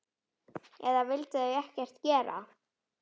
Eða vildu þau ekkert gera?